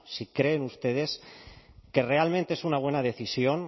si creen ustedes que realmente es una buena decisión